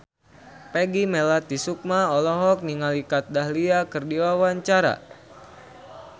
Peggy Melati Sukma olohok ningali Kat Dahlia keur diwawancara